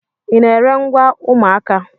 Ị na-ere ngwa ụmụaka?